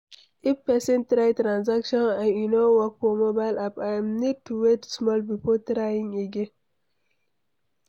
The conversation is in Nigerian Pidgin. If person try transaction and e no work for mobile app, im need to wait small before trying again